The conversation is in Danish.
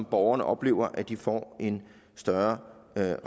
borgerne oplever at de får en større